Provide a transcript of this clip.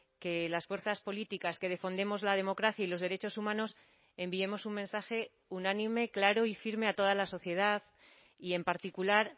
que las fuerzas políticas que defendemos la democracia y los derechos humanos enviemos un mensaje unánime claro y firme a toda la sociedad y en particular